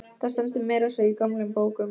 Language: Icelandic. Það stendur meira að segja í gömlum bókum.